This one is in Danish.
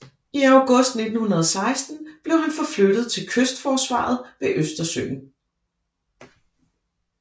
I august 1916 blev han forflyttet til kystforsvaret ved Østersøen